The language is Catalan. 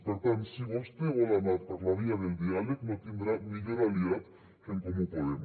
per tant si vostè vol anar per la via del diàleg no tindrà millor aliat que en comú podem